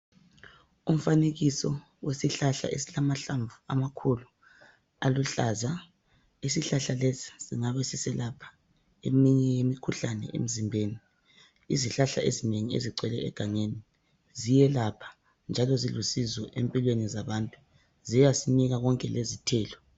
Umfanekiso wesihlahla esilamahlamvu amakhulu aluhlaza, isihlahla singabe siselapha eminye yemikhuhlane emzimbeni. Izihlahla ezinengi ezigcwele egangeni ziyelapha njalo zilusizo empilweni zabantu ziyasinika konke lezithelo.